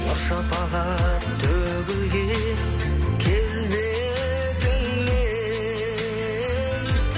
нұр шапағат төгілген келбетіңнен